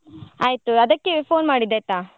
ಆಯ್ತು ಅದಕ್ಕೆವೆ phone ಮಾಡಿದ್ದು ಆಯ್ತಾ.